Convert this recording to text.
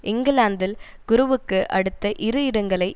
இங்கிலாந்தில் குருவுக்கு அடுத்த இரு இடங்களை